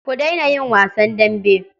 Ku daina yin wasan dambe.